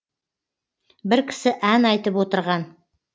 бір кісі ән айтып отырған